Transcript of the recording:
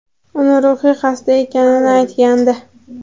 uni ruhiy xasta ekanini aytgandi.